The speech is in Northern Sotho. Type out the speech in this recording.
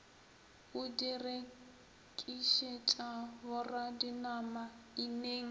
o di rekišetša boradinama ineng